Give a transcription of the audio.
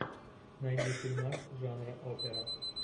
найди фильмас жанра опера